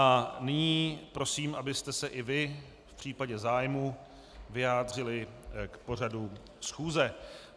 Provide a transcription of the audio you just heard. A nyní prosím, abyste se i vy v případě zájmu vyjádřili k pořadu schůze.